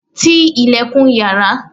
Ti ilẹ̀kùn yàrá!